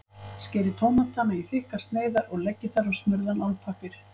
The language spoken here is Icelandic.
Skerið tómatana í þykkar sneiðar og leggið þær á smurðan álpappír.